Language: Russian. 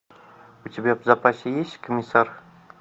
у тебя в запасе есть комиссар